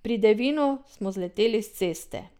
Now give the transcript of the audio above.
Pri Devinu smo zleteli s ceste.